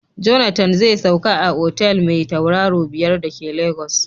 Jonathan zai sauka a otal mai tauraro biyar da ke Lagos.